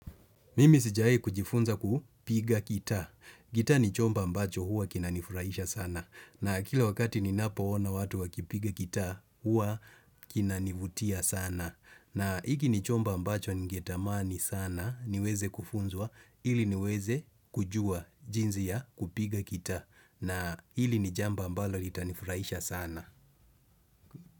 Mimi sijai kujifunza kupiga gitaa. Gitaa ni chomb ambacho huwa kinanifurahisha sana na kila wakati ninapoona watu wakipiga gitaa huwa kinanivutia sana. Na hiki ni chombo ambacho ningetamani sana niweze kufunzwa ili niweze kujua jinzi ya kupiga gitaa na hili ni jambo ambalo litanifurahisha sana.